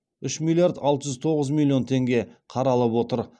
үш миллиард алты жүз тоғыз миллион теңге қаралып отыр